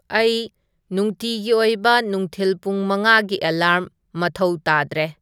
ꯑꯩ ꯅꯨꯡꯇꯤꯒꯤ ꯑꯣꯏꯕ ꯅꯨꯡꯊꯤꯜ ꯄꯨꯡ ꯃꯉꯥꯒꯤ ꯑꯦꯂꯥꯔ꯭ꯝ ꯃꯊꯧ ꯇꯥꯗꯔꯦ